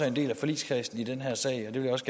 en del af forligskredsen i den her sag også